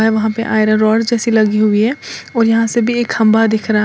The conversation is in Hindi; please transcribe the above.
वहां पे आयरन रोड जैसी लगी हुई है और यहां से भी एक खंभा दिख रहा--